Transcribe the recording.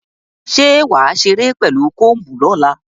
Ṣé wà á ṣeré pẹ̀lú comb lọ́la?